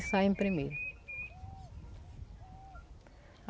saímos primeiro.